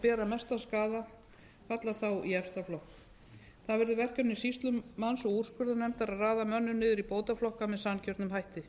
bera mestan skaða falla í efsta flokk það verður verkefni sýslumanns og úrskurðarnefndar að raða mönnum niður í bótaflokka með sanngjörnum hætti